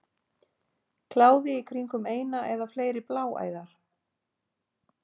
Kláði í kringum eina eða fleiri bláæðar.